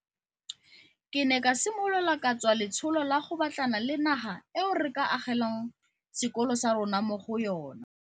Ke ne ka simolola ka tswa letsholo la go batlana le naga eo re ka agelwang sekolo sa rona mo go yona.